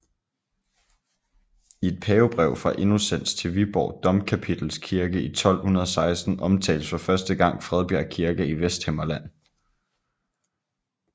I et pavebrev fra Innocens til Viborg Domkapitels kirke i 1216 omtales for første gang Fredbjerg kirke i Vesthimmerland